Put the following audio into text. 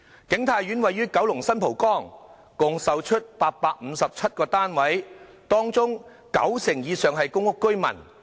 景泰苑位於九龍新蒲崗，共售出857個單位，當中九成以上是公屋居民。